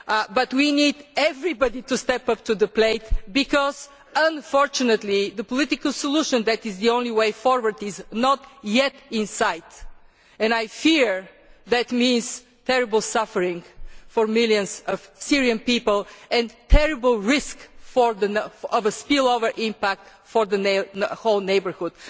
be there. But we need everybody to step up to the plate because, unfortunately, the political solution that is the only way forward is not yet in sight, and I fear that means terrible suffering for millions of Syrian people and a terrible risk of a spillover impact for the whole neighbourhood.